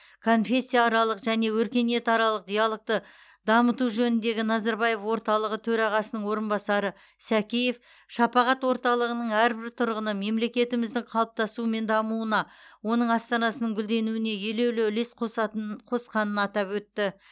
конфессияаралық және өркениетаралық диалогты дамыту жөніндегі назарбаев орталығы төрағасының орынбасары сәкеев шапағат орталығының әрбір тұрғыны мемлекетіміздің қалыптасуы мен дамуына оның астанасының гүлденуіне елеулі үлес қосатының қосқанын атап өтті